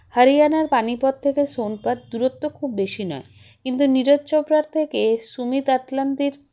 হারিয়ানার পানিপত থেকে শোনপত দূরত্ব খুব বেশি নয় কিন্তু নিরজ চোপড়ার থেকে সুমিত আতলান্ডির